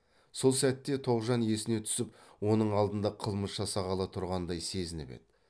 сол сәтте тоғжан есіне түсіп оның алдында қылмыс жасағалы тұрғандай сезініп еді